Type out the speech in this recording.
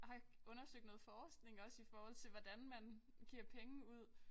Har undersøgt noget forskning også i forhold til hvordan man giver penge ud